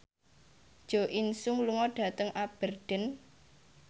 Jo In Sung lunga dhateng Aberdeen